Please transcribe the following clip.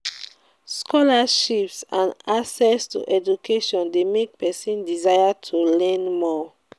scholarships and and access to education de make persin desire to learn more